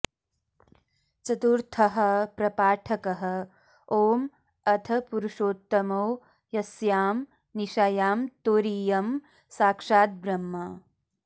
चतुर्थः प्रपाठकः ॐ अथ पुरुषोत्तमो यस्यां निशायां तुरीयं साक्षाद् ब्रह्म